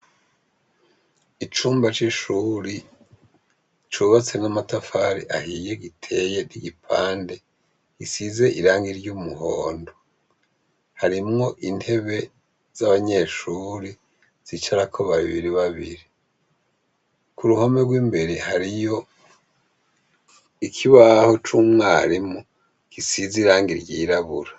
Icumba cishure cyubatsemwo amatafari ahiye giteye gisize irangi ry'umuhondo harimwo intebe zabanyeshure zicarako babiri babiri kuruhome rwimbere hariyo ikibaho cumwarimu gisize irangi ryirabura.